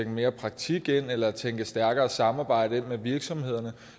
mere praktik ind eller tænke stærkere samarbejde med virksomhederne